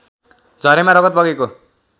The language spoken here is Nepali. झरेमा रगत बगेको